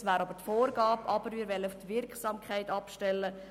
Dies wäre eine Vorgabe, aber wir wollen auf die Wirksamkeit abstellen.